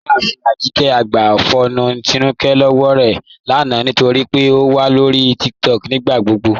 Ìyàáfin Ajíkẹ̀ gbà fọ́ọnù Tínúkẹ̀ lọ́wọ́ rẹ lána nítorí pé ó wà lọ́rí TikTok nígbàgbogbo